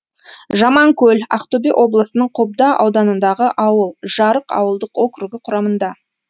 жаманкөл ақтөбе облысының қобда ауданындағы ауыл жарық ауылдық округі құрамында